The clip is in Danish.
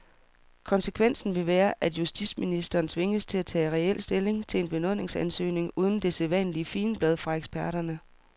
Konsekvensen vil være, at justitsministeren tvinges til at tage reel stilling til en benådningsansøgning uden det sædvanlige figenblad fra eksperterne.